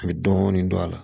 A bɛ dɔɔnin don a la